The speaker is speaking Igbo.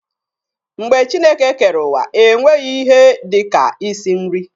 Mgbe Chineke kere uwa, e nweghi ihe dika ịsị nri.